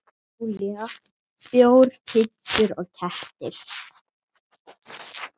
Júlía: Bjór, pitsur og kettir.